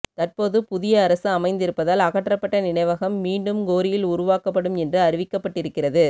தற்போது புதிய அரசு அமைந்திருப்பதால் அகற்றப்பட்ட நினைவகம் மீண்டும் கோரியில் உருவாக்கப்படும் என்று அறிவிக்கப்பட்டிருக்கிறது